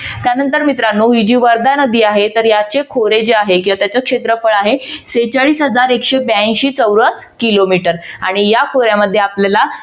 त्यानंतर मित्रानो ही जी वर्धा नदी आहे याचे खोरे जे आहे किंवा त्याचे क्षेत्रफळ आहे सेहेचाळीस हजार एकशे ब्यांशी चौरस किलोमीटर आणि या खोऱ्यामध्ये आपल्याला